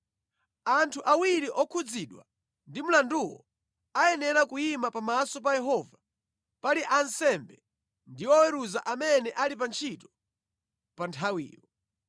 anthu awiri okhudzidwa ndi mlanduwo ayenera kuyima pamaso pa Yehova pali ansembe ndi oweruza amene ali pa ntchito pa nthawiyo.